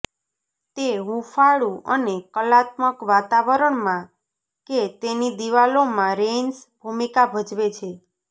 તે હૂંફાળું અને કલાત્મક વાતાવરણમાં કે તેની દિવાલોમાં રેઇન્સ ભૂમિકા ભજવે છે